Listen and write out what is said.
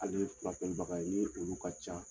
Al ni ne ye kunnafonibaga ye ni e kunko ka ca